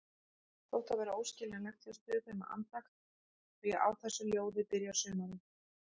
Þótt það væri óskiljanlegt, hlustuðu þau með andakt því á þessu ljóði byrjar sumarið.